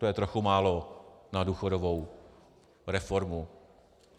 To je trochu málo na důchodovou reformu.